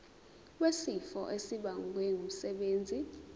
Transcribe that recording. wesifo esibagwe ngumsebenzi